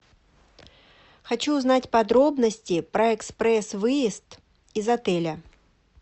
хочу узнать подробности про экспресс выезд из отеля